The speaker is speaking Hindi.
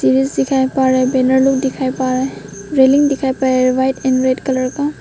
ब्रिज दिखाई पड़ रहा है बैनर लोग दिखाई पड़ रहे है रेलिंग दिखाई पड़ रहा है वाइट एंड रेड कलर का।